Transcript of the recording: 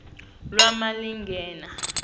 lwemalingena